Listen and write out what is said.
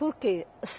Porque